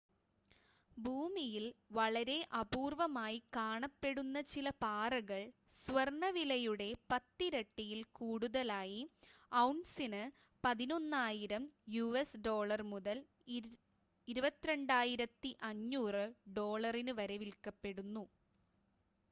ഭൂമിയിൽ വളരെ അപൂർവ്വമായി കാണപ്പെടുന്ന ചില പാറകൾ സ്വർണ്ണ വിലയുടെ പത്തിരട്ടിയിൽ കൂടുതലായി ഔൺസിന് 11,000 യുഎസ് ഡോളർ മുതൽ 22,500 ഡോളറിന് വരെ വിൽക്കപ്പെടുന്നു